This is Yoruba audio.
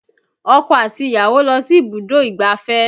Ọkọ àti ìyàwó lọ sí ibùdó ìgbáfẹ́